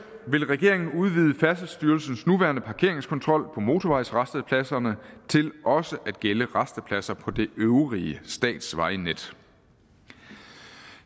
vil regeringen udvide færdselsstyrelsens nuværende parkeringskontrol på motorvejsrastepladserne til også at gælde rastepladser på det øvrige statsvejnet